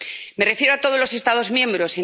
Me refiero a todos los Estados miembros.